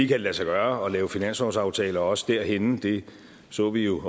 det lade sig gøre at lave en finanslovsaftale også derhenne det så vi jo